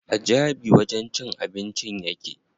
A Jabi wajen cin abincin yake.